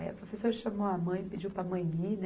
Aí a professora chamou a mãe, pediu para a mãe ir, né?